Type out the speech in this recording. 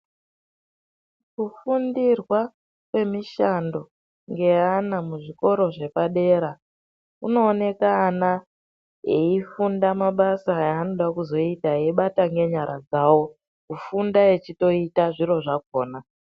Kufundirwa kwemishando ngeana muzvikoro zvepadera kunooneka ana eifunda mabasa aanoda kuzoita. Kufunda eibata ngenyara dzavo, kufunda echitoita zviro zvakona.